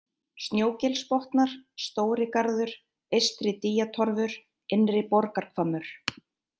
Snjógilsbotnar, Stórigarður, Eystri-Dýjatorfur, Innri-Borgarhvammur